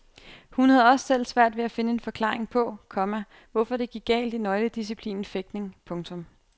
Hun havde også selv svært ved at finde en forklaring på, komma hvorfor det gik galt i nøgledisciplinen fægtning. punktum